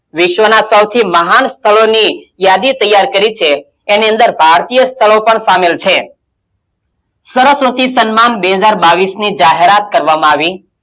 વિશ્વનાં સૌથી મહાન સ્થળોની યાદી તૈયાર કરી છે એની અંદર ભારતીય સ્થળો પણ શામિલ છે સરસ્વતી સન્માન બે હજાર બાવીશ ની જાહેરાત કરવામાં આવી,